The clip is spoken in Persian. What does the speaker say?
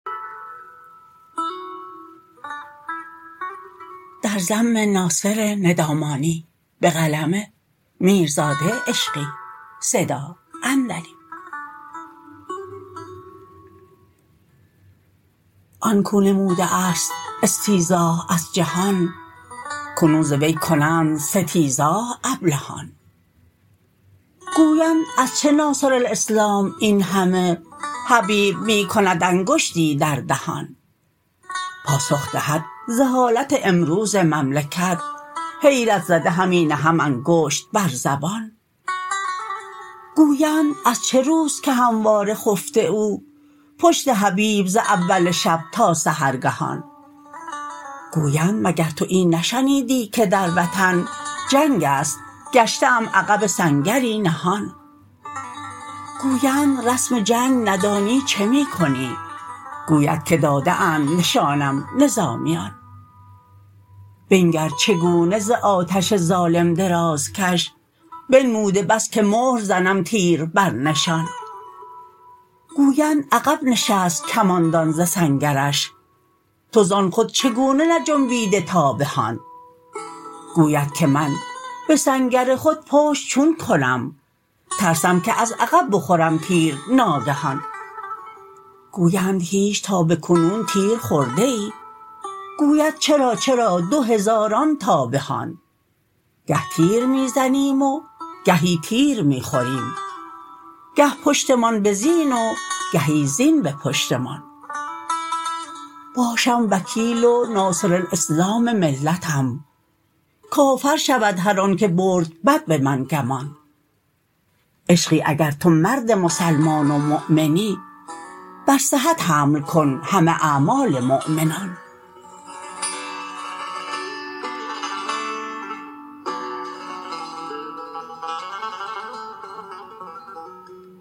آنکو نموده است استیضاح از جهان اکنون ز وی کنند ستیضاح ابلهان گویند از چه ناصرالاسلام این همه حبیب می کند انگشتی در دهان پاسخ دهد ز حالت امروز مملکت حیرت زده همی نهم انگشت بر زبان گویند از چه روست که همواره خفته او پشت حبیب ز اول شب تا سحرگهان گویند مگر تو این نشنیدی که در وطن جنگ است گشته ام عقب سنگری نهان گویند رسم جنگ ندانی چه می کنی گوید که داده اند نشانم نظامیان بنگر چگونه ز آتش ظالم درازکش بنموده بس که مهر زنم تیر بر نشان گویند عقب نشست کماندان ز سنگرش تو زان خود چگونه نجنبیده تا به هان گوید که من به سنگر خود پشت چون کنم ترسم که از عقب بخورم تیر ناگهان گویند هیچ تا بکنون تیر خورده ای گوید چرا چرا دو هزاران تا به هان گه تیر می زنیم و گهی تیر می خوریم گه پشتمان به زین و گهی زین به پشتمان باشم وکیل و ناصرالاسلام ملتم کافر شود هر آن که برد بد به من گمان عشقی اگر تو مرد مسلمان و مؤمنی بر صحت حمل کن همه اعمال مؤمنان